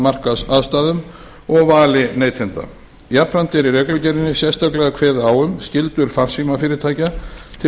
markaðsaðstæðum og vali neytenda jafnframt er í reglugerðinni sérstaklega kveðið á um skyldur farsímafyrirtækja til